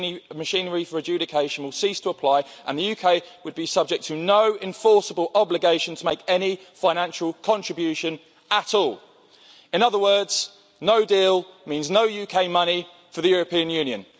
and machinery for adjudication, will cease to apply, and the UK would be subject to no enforceable obligation to make any financial contribution at all. In other words, no deal means no UK money for the European Union.